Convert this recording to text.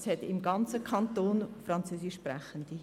es hat im gesamten Kanton Französischsprechende.